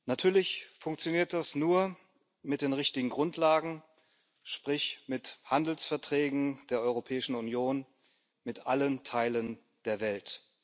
Natürlich funktioniert das nur mit den richtigen Grundlagen, sprich mit Handelsverträgen der Europäischen Union mit allen Teilen der Welt.